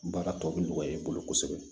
Baara tɔ bi nɔgɔya i bolo kosɛbɛ